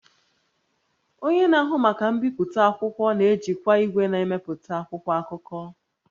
Onye na-ahụ maka mbipụta akwụkwọ na-ejikwa igwe na-emepụta akwụkwọ akụkọ